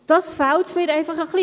Dies fehlt mir ein wenig.